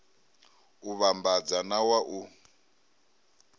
u vhambadza na wa u